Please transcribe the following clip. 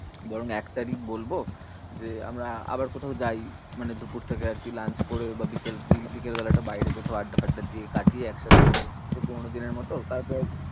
বরং এক তারিখ বলবো যে, আমরা আবার কোথাও যাই। মানে দুপুর থেকে আরকি lunch করে বা বিকেল~ বিকেলবেলাটা বাইরে কোথাও আড্ডা ফাড্ডা দিয়ে কাটিয়ে একসাথে। সেই পুরোনো দিনের মতো তারপর